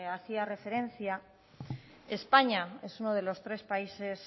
hacía referencia españa es uno de los tres países